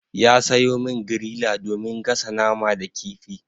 Ya sayo min griller domin gasa nama da kifi.